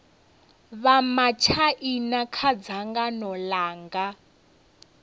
vha matshaina kha dzangano langa